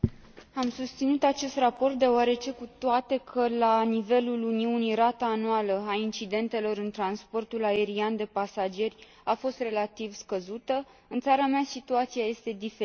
susținut acest raport deoarece, cu toate că la nivelul Uniunii rata anuală a incidentelor în transportul aerian de pasageri a fost relativ scăzută, în țara mea situația este diferită.